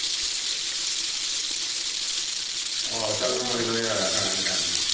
ਚਲ ਕੋਈ ਨਾ ਅਹ ਆਜਿਆ ਕਰਾਂਗੇ time ਨਾਲ ਈ।